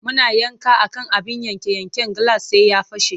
Muna yanka a kan abin yanke-yanken gilas sai ya fashe.